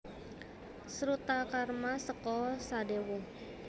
Srutakarma seka Sadewa